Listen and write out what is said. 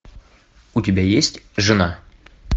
у тебя есть жена